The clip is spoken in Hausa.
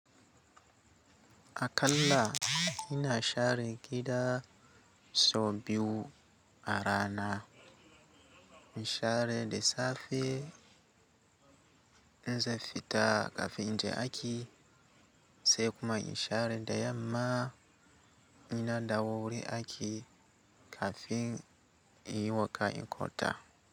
A kalla ina share gida sau biyu a rana. Share da safe in zan fita kafin inje aiki, sai kuma in share da yamma in na dawo wurin aiki kafin inyi wanka in kwanta.